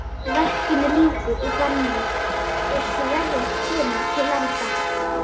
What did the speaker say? Verkinu lýkur í þann mund er Sverrir kemur til landa.